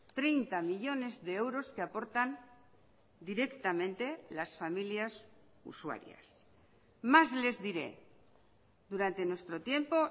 treinta millónes de euros que aportan directamente las familias usuarias más les diré durante nuestro tiempo